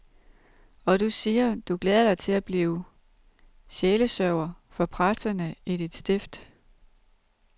Og du siger, du glæder dig til at blive sjælesørger for præsterne i dit stift.